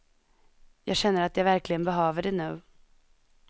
Jag känner att jag verkligen behöver det nu.